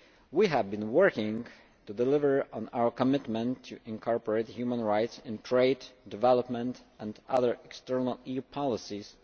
alike. We have been working to deliver on our commitment to incorporate human rights in trade, development and other external EU policies,